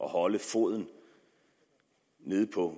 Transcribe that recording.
at holde foden nede på